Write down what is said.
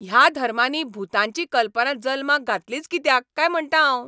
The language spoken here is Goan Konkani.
ह्या धर्मांनी भुतांची कल्पना जल्माक घातलीच कित्याक काय म्हणटा हांव.